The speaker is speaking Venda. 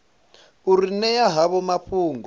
u ri ṅea havho mafhungo